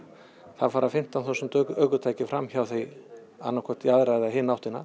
það fara fimmtán þúsund ökutæki fram hjá því annað hvort í aðra eða hina áttina